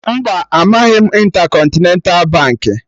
Mba, amaghị m Intercontinental Baankị